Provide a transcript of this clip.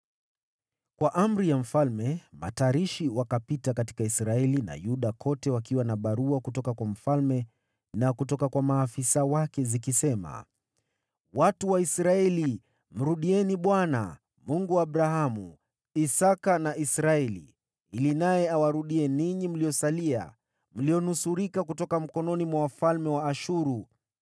Kwa amri ya mfalme, matarishi wakapita katika Israeli na Yuda kote wakiwa na barua kutoka kwa mfalme na kutoka kwa maafisa wake zikisema: “Watu wa Israeli, mrudieni Bwana , Mungu wa Abrahamu, Isaki na Israeli, ili naye awarudie ninyi mliosalia, mlionusurika kutoka mikononi mwa wafalme wa Ashuru.